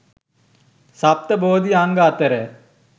සප්ත බෝධි අංග අතර